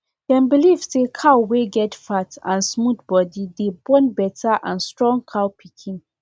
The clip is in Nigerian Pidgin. dem believe say cow wey get fat and smooth body dey born better and strong cow pikin